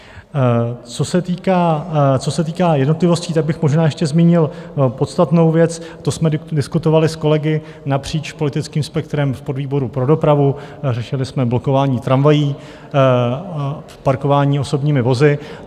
Co se týká jednotlivostí, tak bych možná ještě zmínil podstatnou věc, to jsme diskutovali s kolegy napříč politickým spektrem v podvýboru pro dopravu - řešili jsme blokování tramvají v parkování osobními vozy.